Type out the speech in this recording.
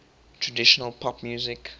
traditional pop music